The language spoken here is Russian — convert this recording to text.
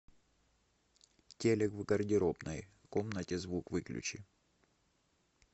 телек в гардеробной комнате звук выключи